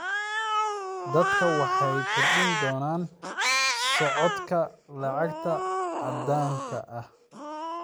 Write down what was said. Dadku waxay kordhin doonaan socodka lacagta caddaanka ah.